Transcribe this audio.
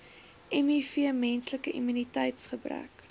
miv menslike immuniteitsgebrek